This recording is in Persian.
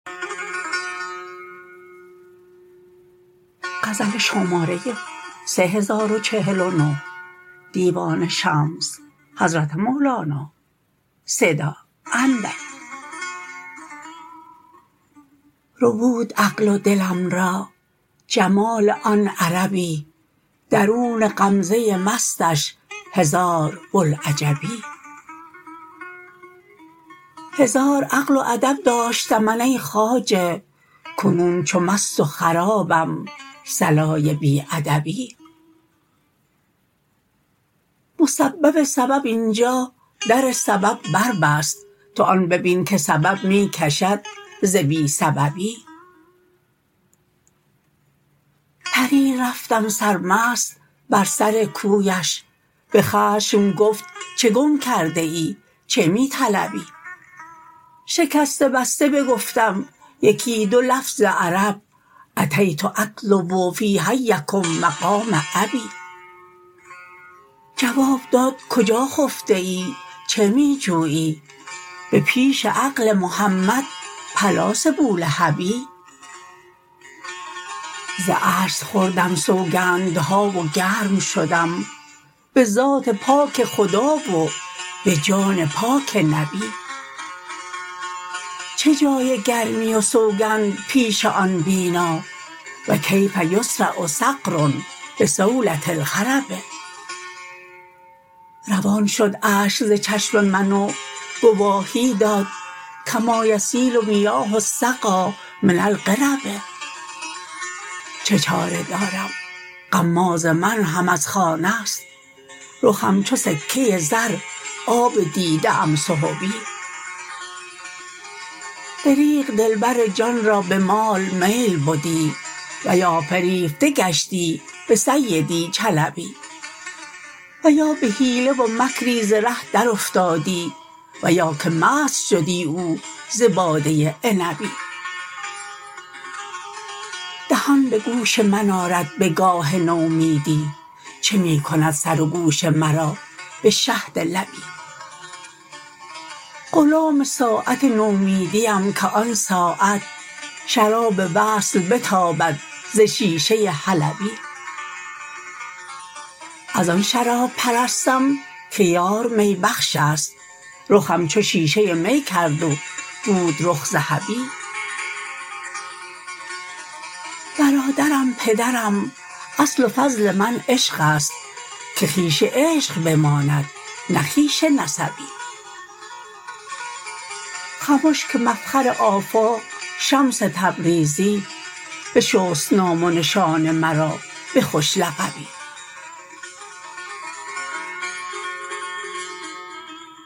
ربود عقل و دلم را جمال آن عربی درون غمزه مستش هزار بوالعجبی هزار عقل و ادب داشتم من ای خواجه کنون چو مست و خرابم صلای بی ادبی مسبب سبب این جا در سبب بربست تو آن ببین که سبب می کشد ز بی سببی پریر رفتم سرمست بر سر کویش به خشم گفت چه گم کرده ای چه می طلبی شکسته بسته بگفتم یکی دو لفظ عرب أتیت أطلب في حیکم مقام أبي جواب داد کجا خفته ای چه می جویی به پیش عقل محمد پلاس بولهبی ز عجز خوردم سوگندها و گرم شدم به ذات پاک خدا و به جان پاک نبی چه جای گرمی و سوگند پیش آن بینا و کیف یصرع صقر بصولة الخرب روان شد اشک ز چشم من و گواهی داد کما یسیل میاه السقا من القرب چه چاره دارم غماز من هم از خانه ست رخم چو سکه زر آب دیده ام سحبی دریغ دلبر جان را به مال میل بدی و یا فریفته گشتی به سیدی چلبی و یا به حیله و مکری ز ره درافتادی و یا که مست شدی او ز باده عنبی دهان به گوش من آرد به گاه نومیدی چه می کند سر و گوش مرا به شهد لبی غلام ساعت نومیدیم که آن ساعت شراب وصل بتابد ز شیشه ای حلبی از آن شراب پرستم که یار می بخشست رخم چو شیشه می کرد و بود رخ ذهبی برادرم پدرم اصل و فصل من عشقست که خویش عشق بماند نه خویشی نسبی خمش که مفخر آفاق شمس تبریزی بشست نام و نشان مرا به خوش لقبی